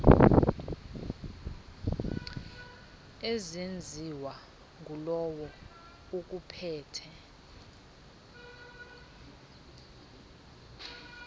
ezenziwa ngulowo ukuphethe